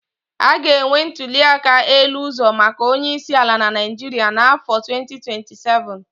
A ga-enwe ntuli aka elu ọzọ maka onye isi ala na Naịjirịa n'afọ 2027.